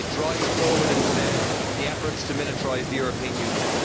It drives forward instead the efforts to militarise the European Union.